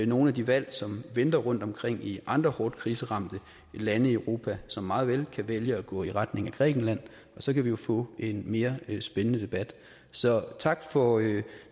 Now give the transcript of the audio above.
nogle af de valg som venter rundtomkring i andre hårdt kriseramte lande i europa som meget vel kan vælge at gå i retning ad grækenland og så kan vi jo få en mere spændende debat så tak for